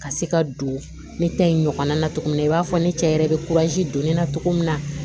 Ka se ka don ne ta in ɲɔgɔn na cogo min na i b'a fɔ ne cɛ yɛrɛ bɛ don ne na cogo min na